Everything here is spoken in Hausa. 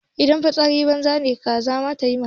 Idan fitsari banza ne kaza ta yi mana.